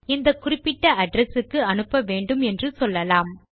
இந்த குறிப்பிட்ட அட்ரெஸ் க்கு அனுப்ப வேண்டும் என்று சொல்லலாம்